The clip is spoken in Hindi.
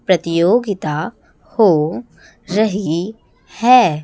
प्रतियोगिता हो रही है।